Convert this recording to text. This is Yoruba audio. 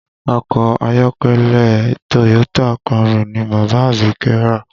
Ọkọ̀ ayọ́kẹ́lẹ́ Toyota Camry ni bàbá Abike rà